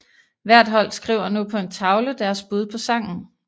Hvert hold skriver nu på en tavle deres bud på sangen